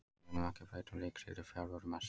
Við munum ekki breyta um leikstíl í fjarveru Messi.